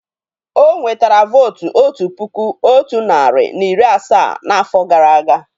O nwetara vóótú otu puku otu narị na iri asaa n'afọ gara aga